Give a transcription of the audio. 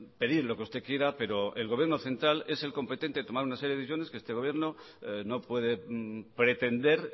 pedir lo que usted quiera pero el gobierno central es el competente en tomar una serie de decisiones que este gobierno no puede pretender